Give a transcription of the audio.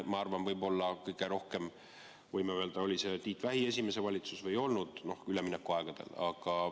No ma arvan, võib-olla kõige rohkem, võime öelda, oli see Tiit Vähi esimene valitsus üleminekuaegadel.